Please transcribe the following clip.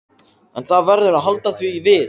En það verður að halda því við.